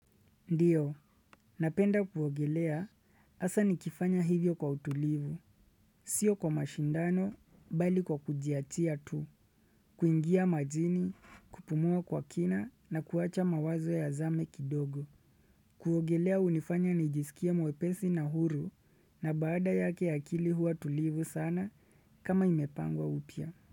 Ndiyo, napenda kuogelea, hasa nikifanya hivyo kwa utulivu. Sio kwa mashindano, bali kwa kujiachia tu. Kuingia majini, kupumua kwa kina na kuwacha mawazo yazame kidogo. Kuogelea unifanya nijisikie mwepesi na huru na baada yake akili huwa tulivu sana kama imepangwa upya.